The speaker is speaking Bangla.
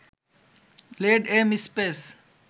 lead, M, space